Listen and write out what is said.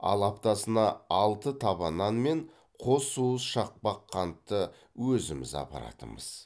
ал аптасына алты таба нан мен қос уыс шақпақ қантты өзіміз апаратынбыз